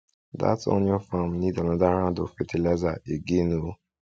dat onioin farm need another round of fertilizer again oo